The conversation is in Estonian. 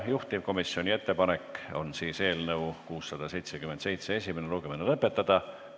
Juhtivkomisjoni ettepanek on eelnõu 677 esimene lugemine lõpetada.